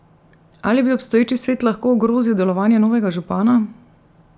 Ali bi obstoječi svet lahko ogrozil delovanje novega župana?